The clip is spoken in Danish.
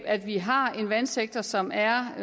at vi har en vandsektor som er